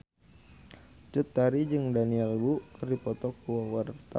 Cut Tari jeung Daniel Wu keur dipoto ku wartawan